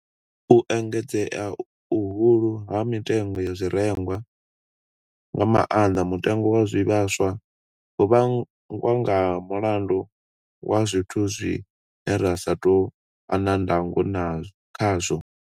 U engedzea uhu ha mitengo ya zwirengwa, nga maanḓa mutengo wa zwivhaswa, ho vhangwa nga mulandu wa zwithu zwine ra sa tou vha na ndango khazwo.